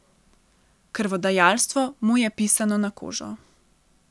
Krvodajalstvo mu je pisano na kožo.